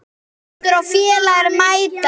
Pétur og félagar mæta.